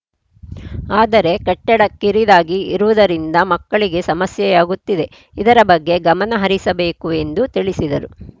ಆದರೆ ಕಟ್ಟಡ ಕಿರಿದಾಗಿ ಇರುವುದರಿಂದ ಮಕ್ಕಳಿಗೆ ಸಮಸ್ಯೆಯಾಗುತ್ತಿದೆ ಇದರ ಬಗ್ಗೆ ಗಮನ ಹರಿಸಬೇಕು ಎಂದು ತಿಳಿಸಿದರು